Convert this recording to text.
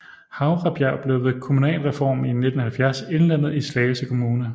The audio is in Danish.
Havrebjerg blev ved kommunalreformen i 1970 indlemmet i Slagelse Kommune